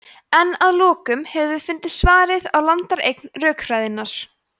en að lokum höfum við fundið svarið á landareign rökfræðinnar